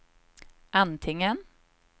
antingen